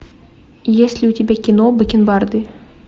есть ли у тебя кино бакен барды